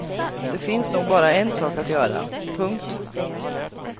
Det finns nog bara en sak att göra. punkt